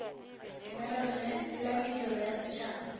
lenaneo la mediro ya setšhaba